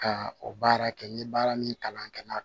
Ka o baara kɛ n ye baara min kalan kɛ